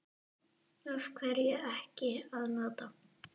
Af hverju ekki að nota?